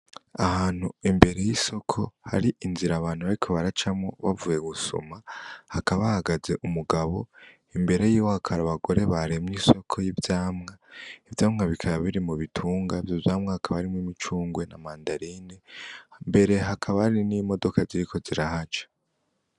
Ahantu imbere y’isoko hari inzira abantu bariko baracamwo bavuye gusuma, hakaba hahagaze Umugabo , imbere yiwe hakaba hari abagore baremye isoko y’ivyamwa , ivyamwa bikaba biri mu bitunga . Ivyo vyamwa hakaba harimwo imicungwe na mandarine imbere hakaba hari n’imodoka ziriko zirahaca.